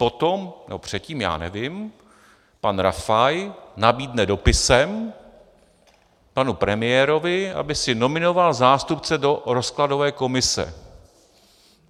Potom - nebo předtím, já nevím - pan Rafaj nabídne dopisem panu premiérovi, aby si nominoval zástupce do rozkladové komise.